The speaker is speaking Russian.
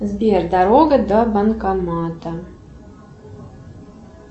сбер дорога до банкомата